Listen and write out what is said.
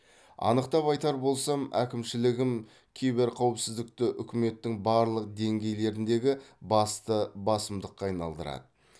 анықтап айтар болсам әкімшілігім киберқауіпсіздікті үкіметтің барлық деңгейлеріндегі басты басымдыққа айналдырады